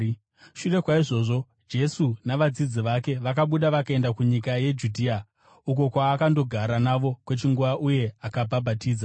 Shure kwaizvozvo, Jesu navadzidzi vake vakabuda vakaenda kunyika yeJudhea, uko kwaakandogara navo kwechinguva, uye akabhabhatidza.